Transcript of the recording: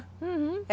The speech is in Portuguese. Uhum.